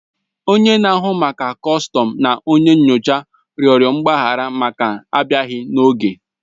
Onye na-ahụ maka kọstọm na onye nyocha rịọrọ mgbaghara maka abịaghi n'oge